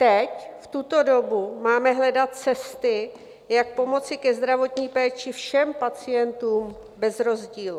Teď, v tuto dobu, máme hledat cesty, jak pomoci ke zdravotní péči všem pacientům bez rozdílu.